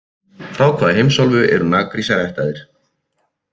Frá hvaða heimsálfu eru Nagrísir ættaðir?